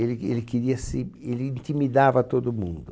Ele ele queria se.. Ele intimidava todo mundo.